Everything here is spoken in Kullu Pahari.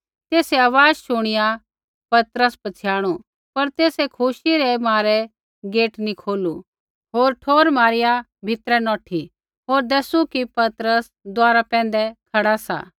तेसै आवाज़ शुणिआ पतरस पछ़ियाणु पर तेसै खुशी रै मारै गेट नी खोलू होर ठोर मारिआ भीतरै नौठी होर दैसू कि पतरस द्वारा पैंधै खड़ा सा